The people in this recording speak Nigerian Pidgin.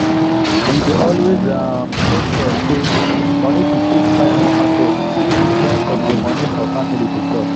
we dey always um make sure say moni to take buy more market dey different from the moni for family to chop.